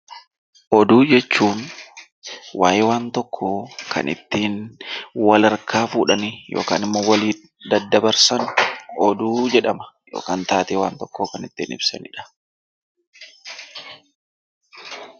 Oduu jechuun waa'ee waan tokkoo kan ittiin wal harkaa fuudhanii yookaan ammoo waliif daddabarsan oduu jedhama yookaan taatee waan tokkoo kan ittiin ibsanidha.